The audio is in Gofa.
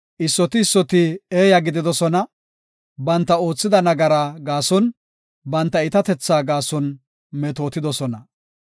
Issoti issoti eeya gididosona; banta oothida nagara gaason banta iitatetha gaason metootidosona.